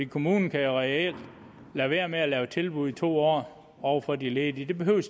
kommunen kan jo reelt lade være med at lave tilbud i to år over for de ledige de behøver